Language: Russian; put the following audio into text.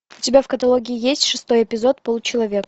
у тебя в каталоге есть шестой эпизод полу человек